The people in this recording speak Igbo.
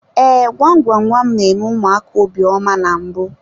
Ee, gwam gwam gwam n'eme ụmụaka obiọma na mbụ.